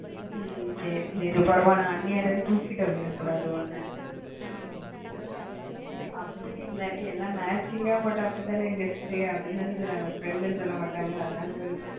ஹம் சரி சரி பிறகு உன்ன அண்ணியார் ன்னு கூப்டுட்டு போயிட கூடாது உன்ன அப்பிடி இல்லடி எல்லாம் matching போட்ட அப்பிடி தான சொல்லுவாங்க ன்னு சொல்ல மாட்டாங்க ல அதான் சொன்னன்